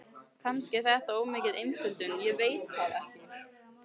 Kannski er þetta of mikil einföldun, ég veit það ekki.